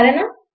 సరేనా